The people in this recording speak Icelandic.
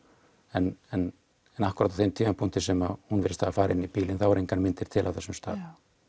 en en en akkúrat á þeim tímapunkti sem hún virðist hafa farið inn í bílinn eru engar myndir til af þeim stað